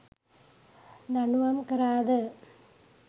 දඬුවම් කරාද?